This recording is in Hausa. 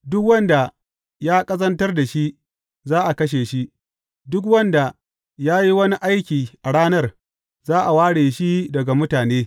Duk wanda ya ƙazantar da shi, za a kashe shi; duk wanda ya yi wani aiki a ranar, za a ware shi daga mutane.